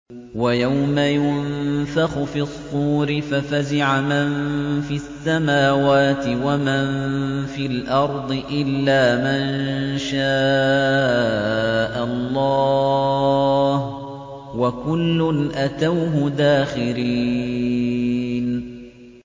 وَيَوْمَ يُنفَخُ فِي الصُّورِ فَفَزِعَ مَن فِي السَّمَاوَاتِ وَمَن فِي الْأَرْضِ إِلَّا مَن شَاءَ اللَّهُ ۚ وَكُلٌّ أَتَوْهُ دَاخِرِينَ